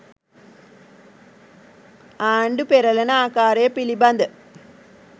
ආණ්‌ඩු පෙරළන ආකාරය පිළිබඳ